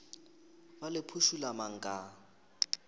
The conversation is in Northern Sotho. be le phušula mang ka